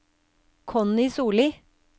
Connie Sollie